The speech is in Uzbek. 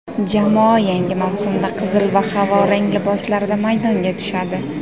Jamoa yangi mavsumda qizil va havorang liboslarda maydonga tushadi.